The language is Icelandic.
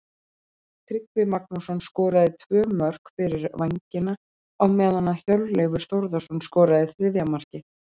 Tryggvi Magnússon skoraði tvö mörk fyrir Vængina á meðan að Hjörleifur Þórðarson skoraði þriðja markið.